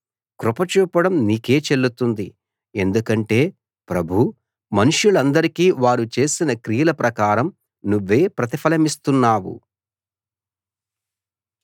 కృప చూపడం నీకే చెల్లుతుంది ఎందుకంటే ప్రభూ మనుష్యులందరికీ వారు చేసిన క్రియల ప్రకారం నువ్వే ప్రతిఫలమిస్తున్నావు